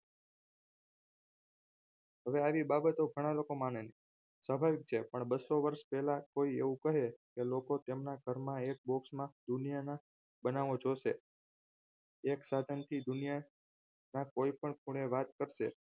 હવે આવી બાબતો ઘણા લોકો માને છે પણ બસો વર્ષ પહેલા કોઈ એવું કરે કે લોકો તેમના ઘરમાં એક box માં દુનિયાના બનાવો જોશે એક સાધનથી દુનિયામાં કોઈ પણ ખૂણે વાત કરશે